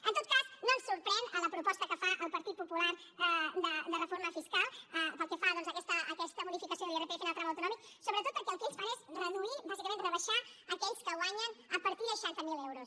en tot cas no ens sorprèn la proposta que fa el partit popular de reforma fiscal pel que fa doncs a aquesta modificació de l’irpf en el tram autonòmic sobretot perquè el que ells fan és reduir bàsicament rebaixar aquells que guanyen a partir de seixanta miler euros